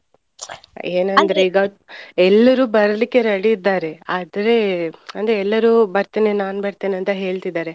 ಎಲ್ರು ಬರ್ಲಿಕ್ಕೆ ready ಇದ್ದಾರೆ ಆದ್ರೆ ಅಂದ್ರೆ ಎಲ್ಲರು ಬರ್ತೇನೆ ನಾನ್ ಬರ್ತೇನೆ ಅಂತ ಹೇಳ್ತಿದ್ದಾರೆ.